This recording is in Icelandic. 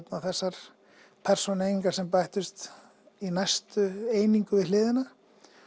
þessar persónueiningar sem bættust í næstu einingu við hliðina